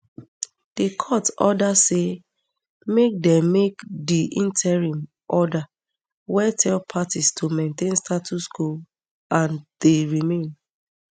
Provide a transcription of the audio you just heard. di court order say make di make di interim order wey tell parties to maintain status quo ante remain